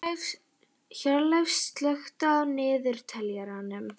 Hjörleif, slökktu á niðurteljaranum.